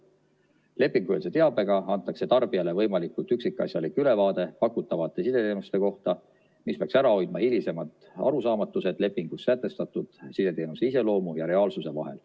Lepingueelse teabega antakse tarbijale võimalikult üksikasjalik ülevaade pakutavate sideteenuste kohta, mis peaks ära hoidma hilisemad arusaamatused lepingus sätestatud sideteenuse iseloomu ja reaalsuse vahel.